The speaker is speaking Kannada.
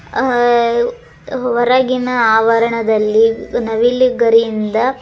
ಅ ಹೊರಗಿನ ಆವರಣದಲ್ಲಿ ನವಿಲು ಗರಿಯಿಂದ --